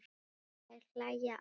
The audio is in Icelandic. Þær hlæja allar.